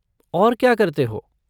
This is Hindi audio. और क्या करते हो?